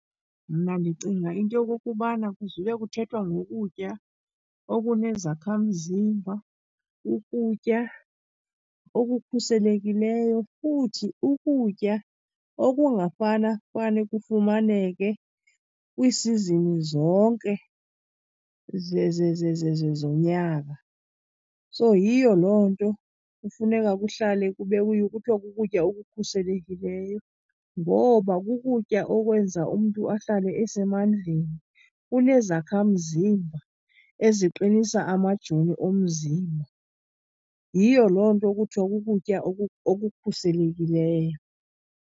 Mna ndicinga into yokokubana kuzube kuthethwa ngokutya okunezakhamzimba, ukutya okukhuselekileyo, futhi ukutya okungafanafane kufumaneke kwiisizini zonke zonyaka. So, yiyo loo nto kufuneka kuhlale , kuthiwa kukutya okukhuselekileyo. Ngoba kukutya okwenza umntu ahlale esemandleni, kunezakhamzimba eziqinisa amajoni omzimba. Yiyo loo nto kuthiwa kukutya okukhuselekileyo.